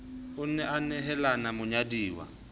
a ne a hanela monyaduwa